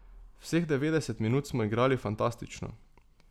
Vseh devetdeset minut smo igrali fantastično.